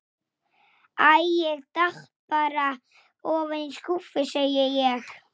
Minn og þinn.